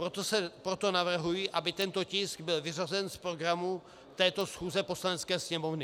Proto navrhuji, aby tento tisk byl vyřazen z programu této schůze Poslanecké sněmovny.